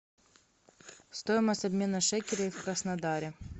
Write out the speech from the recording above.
стоимость обмена шекелей в краснодаре